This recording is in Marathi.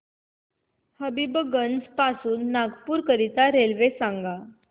हबीबगंज पासून नागपूर करीता रेल्वे सांगा